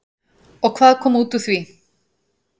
Og hvað kom út úr því?